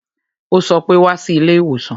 Ó sọ pé "Wá sí ilé ìwòsàn"